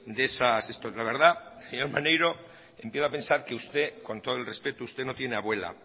de esas la verdad señor maneiro empiezo a pensar que usted con todo el respeto no tiene abuela